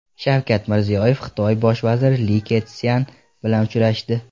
Shavkat Mirziyoyev Xitoy bosh vaziri Li Ketsyan bilan uchrashdi.